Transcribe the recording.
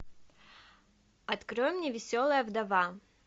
открой мне веселая вдова